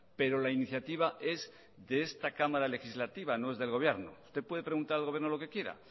pero la iniciativa es de esta cámara legislativa no es del gobierno usted puede preguntar al gobierno lo que quiera